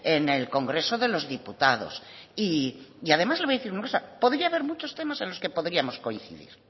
en el congreso de los diputados y además le voy a decir una cosa podía haber muchos temas en los que podríamos coincidir